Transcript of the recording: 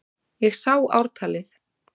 Ég sá ártalið!